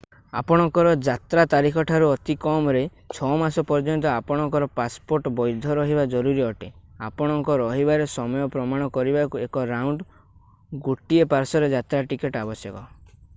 ଆପଣଙ୍କର ଯାତ୍ରା ତାରିଖଠାରୁ ଅତି କମରେ 6 ମାସ ପର୍ଯ୍ୟନ୍ତ ଆପଣଙ୍କର ପାସପୋର୍ଟ ବୈଧ ରହିବା ଜରୁରୀ ଅଟେ ଆପଣଙ୍କ ରହିବାର ସମୟ ପ୍ରମାଣ କରିବାକୁ ଏକ ରାଉଣ୍ଡ / ଗୋଟିଏ ପାର୍ଶ୍ଵର ଯାତ୍ରା ଟିକେଟ୍ ଆବଶ୍ୟକ